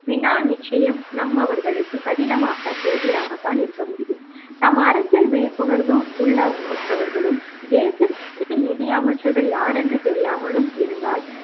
வினா நிச்சயம் நம் அவர்களுக்கு கடினமாக கேள்வியாகத்தான் இருக்க முடியும் தாம் அரசியல் விழிப்புணர்வு உள்ள ஒற்றவர்களும் தேவைக்கு நிதி அமைச்சர்கள் யாரென்று தெரியாமலும் இருந்தால்